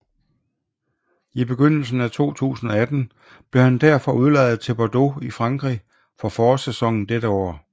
I begyndelsen af 2018 blev han derfor udlejet til Bordeaux i Frankrig for forårssæsonen dette år